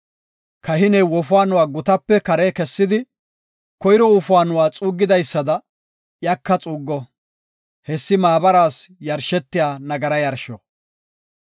Kahiney wofaanuwa gutaape kare kessidi, koyro wofaanoy xuugetidaysada iyaka xuuggo; hessi maabaraas yarshetiya nagara yarsho.